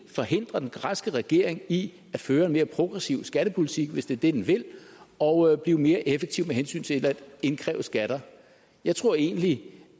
forhindrer den græske regering i at føre en mere progressiv skattepolitik hvis det er det den vil og blive mere effektiv med hensyn til at indkræve skatter jeg tror egentlig